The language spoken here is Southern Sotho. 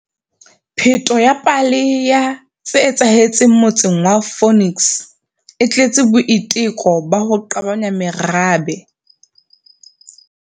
Pheto ya pale ya tse etsahetseng motseng wa Phoenix e tletse boiteko ba ho qabanya merabe.